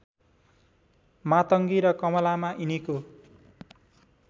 मातङ्गी र कमलामा यिनीको